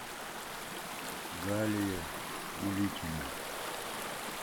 галия уликина